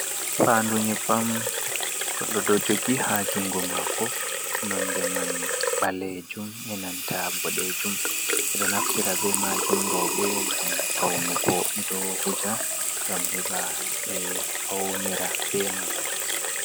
Fandu nyebbam goɗɗo ɗo jogi ha jungo mako, nonde man ɓalejum, e nanta boɗejum, ɓeɗo naftira be majum roɓe ngam faunu ɓeɗo wuja ngam heɓa ɓe faunira be man.